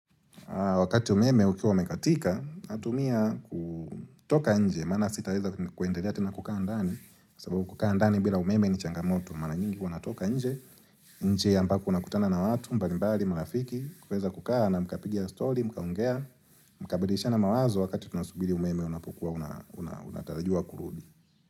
Wakati umeme ukiwa umekatika, natumia kutoka nje, maana sitaweza kuendelea tena kukaa ndani, sababu kukaa ndani bila umeme ni changamoto, mara nyingi huwa natoka nje, nje ambako nakutana na watu, mbalimbali, marafiki, kuweza kukaa na mkapiga story, mkaongea, mkabadilisha na mawazo wakati tunasubili umeme unapokuwa, unatarajiwa kurudi.